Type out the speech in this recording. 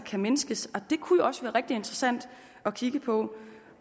kan mindskes og det kunne jo også være rigtig interessant at kigge på